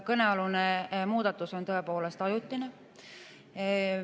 Kõnealune muudatus on tõepoolest ajutine.